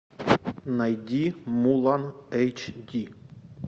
найди мулан эйч ди